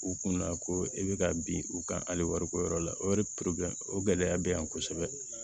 U kunna ko e bɛ ka bin u kan hali wariko yɔrɔ la o yɛrɛ o gɛlɛya bɛ yan kosɛbɛ